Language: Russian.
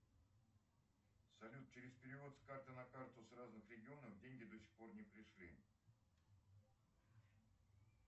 салют через перевод с карты на карту с разных регионов деньги до сих пор не пришли